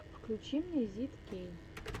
включи мне зидкей